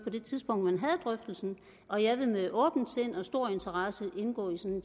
det tidspunkt man havde drøftelsen og jeg vil med åbent sind og stor interesse indgå i sådan